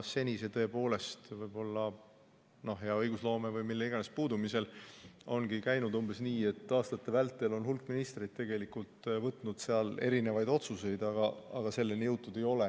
Seni see tõepoolest, võib-olla hea õigusloome või mille tahes puudumise tõttu, ongi käinud umbes nii, et aastate vältel on hulk ministreid võtnud vastu igasugu otsuseid, aga tegudeni jõutud ei ole.